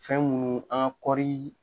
Fɛn minnu an ka kɔɔri